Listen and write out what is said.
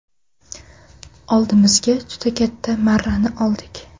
Oldimizga juda katta marrani oldik.